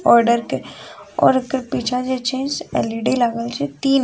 Order और जे एकर पीछा जे छै एल.इ.डी. लागल छै तीन गो --